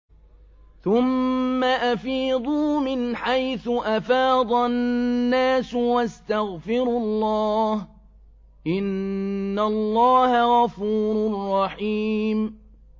ثُمَّ أَفِيضُوا مِنْ حَيْثُ أَفَاضَ النَّاسُ وَاسْتَغْفِرُوا اللَّهَ ۚ إِنَّ اللَّهَ غَفُورٌ رَّحِيمٌ